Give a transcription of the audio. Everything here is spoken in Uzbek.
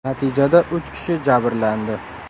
Natijada uch kishi jabrlandi.